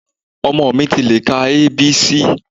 Ọmọ mi ti lè ka A. B. C.